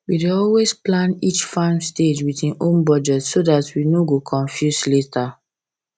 we dey always plan each farm stage with e own budget so dat we no go no go confuse later